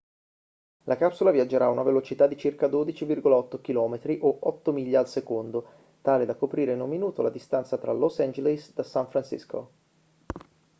la capsula viaggerà a una velocità di circa 12,8 km o 8 miglia al secondo tale da coprire in un minuto la distanza tra los angeles da san francisco